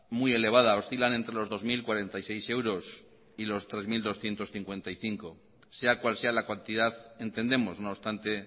muy elevada oscilan entre los dos mil cuarenta y seis euros y los tres mil doscientos cincuenta y cinco sea cual sea la cantidad entendemos no obstante